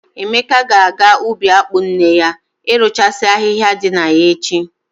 Emeka ga-aga ubi akpụ nne ya irụchasị ahịhịa dị na ya echi.